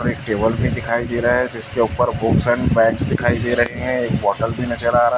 और एक टेबल भी दिखाई दे रहा है जिसके ऊपर बहुत सारे मैट्स दिखाई दे रहे हैं एक बॉटल भी नज़र आ रहा --